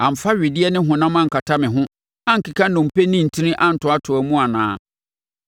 amfa wedeɛ ne honam ankata me ho ankeka nnompe ne ntini antoatoa mu anaa?